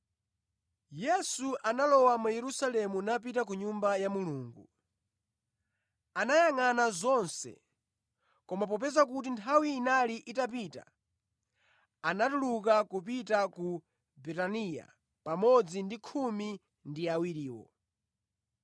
Yesu analowa mu Yerusalemu napita ku Nyumba ya Mulungu. Anayangʼana zonse, koma popeza kuti nthawi inali itapita, anatuluka kupita ku Betaniya pamodzi ndi khumi ndi awiriwo.